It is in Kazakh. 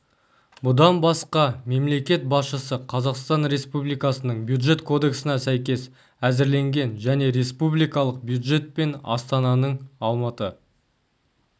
бұдан басқа мемлекет басшысы қазақстан республикасының бюджет кодексіне сәйкес әзірленген және республикалық бюджет пен астананың алматы